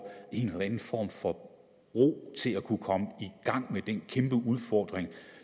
en eller anden form for ro til at kunne komme i gang med den kæmpe udfordring